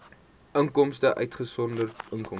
inkomste uitgesonderd inkomste